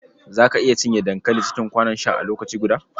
Za ka iya cinye dankali cikin kwanon sha a lokaci guda?